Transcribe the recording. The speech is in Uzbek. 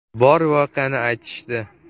Bor voqeani aytishdi.